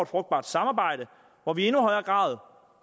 frugtbart samarbejde hvor vi i endnu højere grad